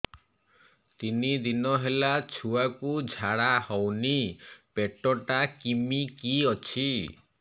ତିନି ଦିନ ହେଲା ଛୁଆକୁ ଝାଡ଼ା ହଉନି ପେଟ ଟା କିମି କି ଅଛି